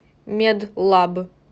медлаб